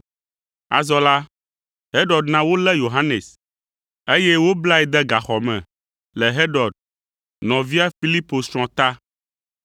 Azɔ la, Herod na wolé Yohanes, eye woblae de gaxɔ me le Herod, nɔvia Filipo srɔ̃ ta,